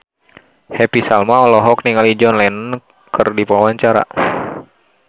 Happy Salma olohok ningali John Lennon keur diwawancara